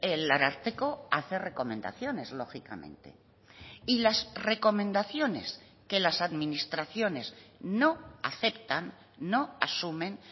el ararteko hace recomendaciones lógicamente y las recomendaciones que las administraciones no aceptan no asumen